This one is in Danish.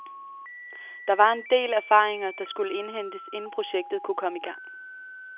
Der var en del erfaringer, der skulle indhentes, inden projektet kunne komme i gang.